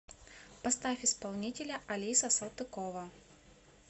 поставь исполнителя алиса салтыкова